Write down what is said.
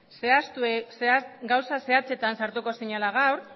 gauza zehatzetan sartuko zinela gaur